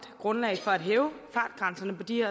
grundlag for at hæve fartgrænserne på de